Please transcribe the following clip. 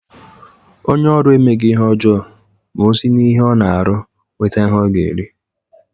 Onye oru emeghi ihe ojoo ma o si n'ihe o na-aru were nweta ihe o ga-eri.